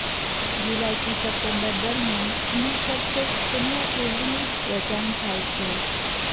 જુલાઈથી September દરમિયાન અહીં ફક્ત ચણીયાચોલીનું જ વેચાણ થાય છે